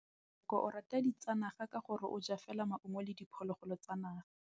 Tshekô o rata ditsanaga ka gore o ja fela maungo le diphologolo tsa naga.